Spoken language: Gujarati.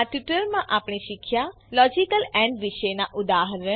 આ ટ્યુટોરીયલમાં આપણે શીખ્યા લોજીકલ એન્ડ વિશે ઉદા